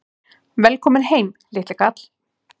Velkominn heim, litli kall!